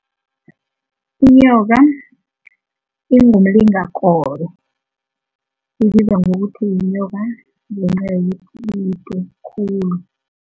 Inyoka ingoma ibizwa ngokuthi yinyoka